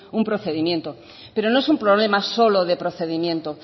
un procedimiento pero no es un problema solo de procedimientos